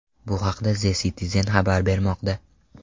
Bu haqda The Citizen xabar bermoqda .